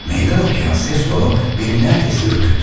Meydan oxuyan səs tonu məni az qala qorxutdu.